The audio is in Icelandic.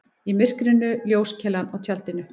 Í myrkrinu ljóskeilan á tjaldinu.